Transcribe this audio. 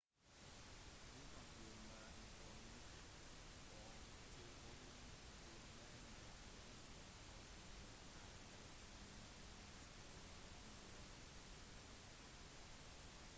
du kan få mer informasjon om tilkobling til denne tjenesten hos din lokale telefontjenesteleverandør